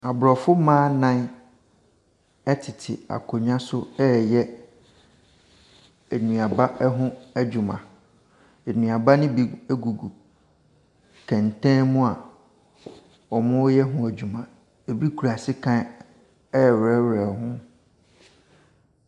Aborɔfo mma nnan tete akonnwa so reyɛ nnuaba ho adwuma. Nnuaba no bi gugu kɛntɛn mu a wɔreyɛ ho adwuma. Ɛbi kura sekan rewerɛwerɛ ho.